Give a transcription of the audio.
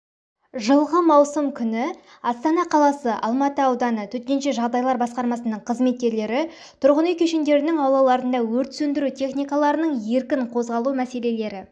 жылғы маусым күні астана қаласы алматы ауданы төтенше жағдайлар басқармасының қызметкерлері тұрғын үй кешендерінің аулаларында өрт сөндіру техникаларының еркін қозғалу мәселелері